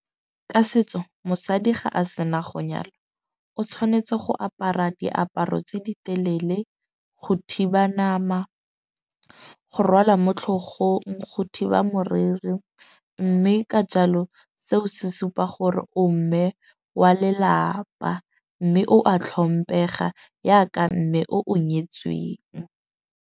Ka setso mosadi ga a sena go nyalwa o tshwanetse go apara diaparo tse di telele go thiba nama, go rwala mo tlhogong, go thiba moriri. Mme ka jalo seo se supa gore o mme wa lelapa. Mme o a tlhomphega jaka mme o o nyetsweng.